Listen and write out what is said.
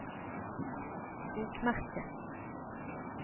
bokmerke